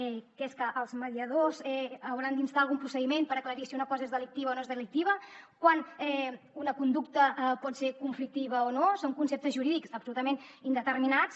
què és que els mediadors hauran d’instar algun procediment per aclarir si una cosa és delictiva o no és delictiva quan una conducta pot ser conflictiva o no són conceptes jurídics absolutament indeterminats